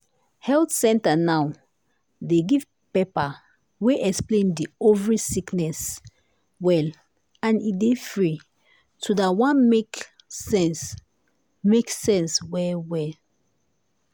health center now dey give paper wey explain di ovary sickness well and e dey free too dat one make sense make sense well well.